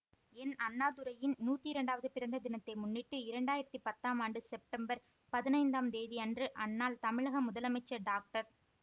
என் அண்ணாதுரையின் நூற்றி இரண்டாவது பிறந்த தினத்தை முன்னிட்டு இரண்டு ஆயிரத்தி பத்தாம் ஆண்டு செப்டெம்பர் பதினைந்தாம் தேதியன்று அந்நாள் தமிழக முதலமைச்சர் டாக்டர்